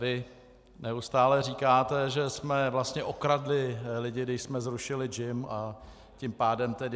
Vy neustále říkáte, že jsme vlastně okradli lidi, když jsme zrušili JIM, a tím pádem tedy...